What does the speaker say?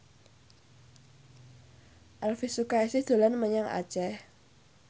Elvi Sukaesih dolan menyang Aceh